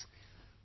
Friends,